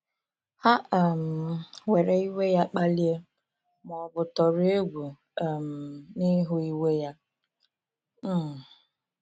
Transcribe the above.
Ha um ‘were iwe ya kpalie,’ ma ọ bụ ‘tọrọ egwu um n’ịhụ iwe ya.’ um